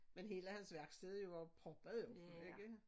Men hele hans værksted er jo proppet jo ikke